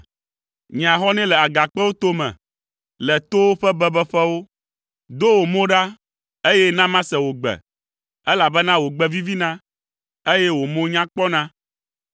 Nye ahɔnɛ le agakpewo tome, le towo ƒe bebeƒewo, do wò mo ɖa, eye na mase wò gbe, elabena wò gbe vivina, eye wò mo nya kpɔna.